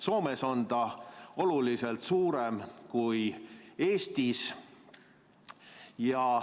Soomes on see oluliselt suurem kui Eestis.